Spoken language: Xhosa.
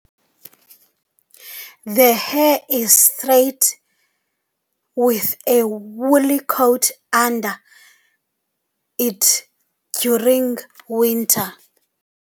The hair is straight with a woolly coat under it during winter.